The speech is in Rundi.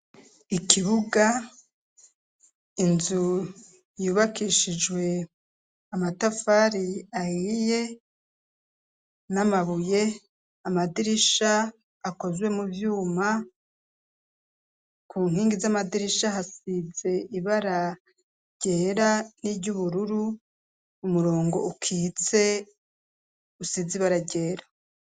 Ikibuga inzu yubakishijwe amatafari ahiye, n'amabuye amadirisha akozwe mu vyuma ku nkingi z'amadirisha hasize ibara ryera n'iry'ubururu ,umurongo ukitse usiz' ibara ryera